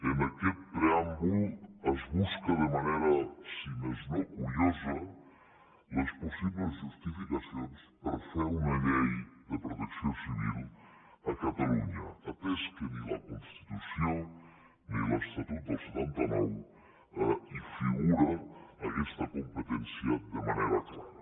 en aquest preàmbul es busquen de manera si més no curiosa les possibles justificacions per fer una llei de protecció civil a catalunya atès que ni a la constitució ni a l’estatut del setanta nou hi figura aquesta competència de manera clara